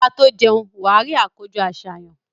Kí o tó jẹun, wà á rí àkójọ-àsàyàn.